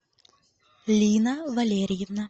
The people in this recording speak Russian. лина валерьевна